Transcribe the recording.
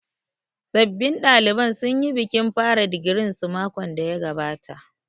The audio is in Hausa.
Sabbin ɗaliban sun yi bikin fara digirin su makon da ya gabata